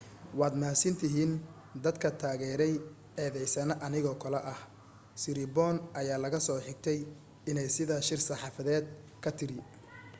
"waad mahadsantihiin dadka taageray eedeysane anigoo kale ah siriporn ayaa laga soo xigtay iney sidaa shir saxaafadeedki ka tiri.